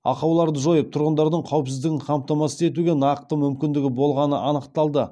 ақауларды жойып тұрғындардың қауіпсіздігін қамтамасыз етуге нақты мүмкіндігі болғаны анықталды